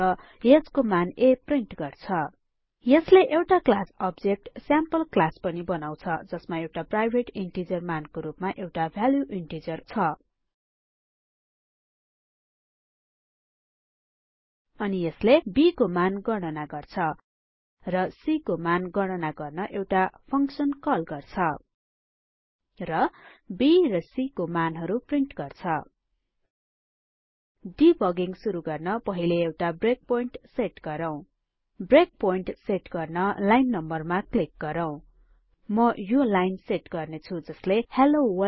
र यसको मान a प्रिन्ट गर्छ यसले एउटा क्लास अब्जेक्ट स्याम्पलक्लास पनि बनाउछ जसमा एउटा प्राइभेट इन्टिजर मानको रुपमा एउटा भ्याल्यु इन्टिजर छ अनि यसले b को मान गणना गर्छ र c को मान गणना गर्न एउटा फंक्सन कल गर्छ र b र c को मानहरु प्रिन्ट गर्छ डिबगिङ सुरु गर्न पहिले एउटा ब्रेकपोइन्ट सेट गरौ ब्रेकपोइन्ट सेट गर्न लाइन नम्बरमा क्लिक गरौ म यो लाइन सेट गर्ने छु जसले हेल्लो World